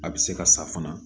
A bɛ se ka sa fana